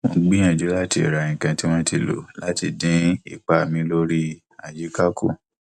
mo ń gbìyànjú láti ra nǹkan tí wọn ti lò láti dín ipa mi lórí àyíká kù